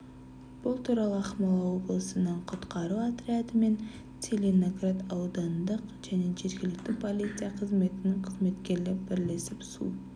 бұл туралы ақмола облысының құтқару отряды мен целиноград аудандық және жергілікті полиция қызметінің қызметкерлері бірлесіп су